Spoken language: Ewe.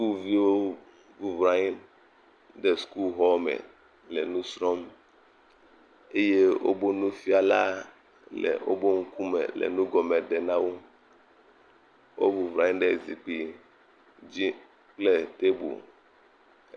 Skuviwo bublɔ anyi ɖe skuxɔ me le nu srɔ̃m eye obo nufiala le obo ŋkume le nu gɔme ɖe na wo. Obublɔ anyi ɖe zikpui dzi kple tebel.